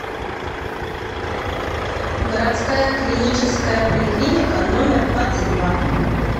городская клиническая поликлиника номер двадцать два